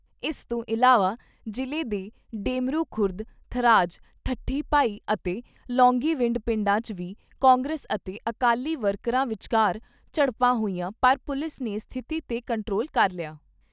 ਇਸ ਤੋਂ ਇਲਾਵਾ ਜ਼ਿਲ੍ਹੇ ਦੇ ਡੇਮਰੂ ਖੁਰਦ, ਥਰਾਜ, ਠੱਠੀ ਭਾਈ ਅਤੇ ਲੌਂਗੀਵਿੰਡ ਪਿੰਡਾਂ 'ਚ ਵੀ ਕਾਂਗਰਸ ਅਤੇ ਅਕਾਲੀ ਵਰਕਰਾਂ ਵਿਚਾਰ ਝੜਪਾਂ ਹੋਈਆਂ ਪਰ ਪੁਲਿਸ ਨੇ ਸਥਿਤੀ ਤੇ ਕੰਟਰੋਲ ਕਰ ਲਿਆ।